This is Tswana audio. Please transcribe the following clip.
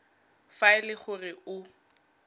fa e le gore o